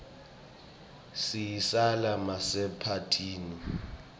siyislala masemaphathini